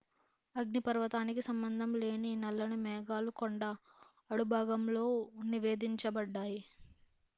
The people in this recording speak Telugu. అగ్నిపర్వతానికి సంబంధం లేని నల్లని మేఘాలు కొండ అడుగుభాగంలో నివేదించబడ్డాయి